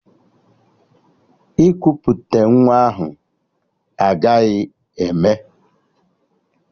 Ikuputa nwa ahụ agaghị eme!